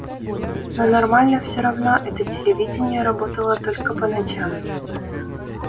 но нормально все равно это телевидение работало только по ночам